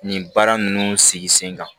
Nin baara ninnu sigi sen kan